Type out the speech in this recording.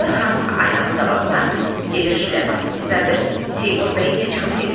Zivər xanım aynanın qabağına gedir şlyapasını düzəldir, Teymur bəy ilə çıxıb gedirlər.